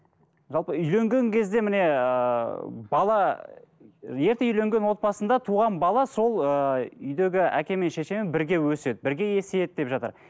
жалпы үйленген кезде міне ыыы бала ерте үйленген отбасында туған бала сол ыыы үйдегі әкемен шешемен бірге өседі бірге есейеді деп жатыр